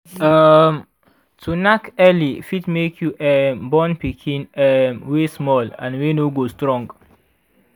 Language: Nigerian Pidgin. um to knack early fit make you um born pikin um wy small and wy no go strong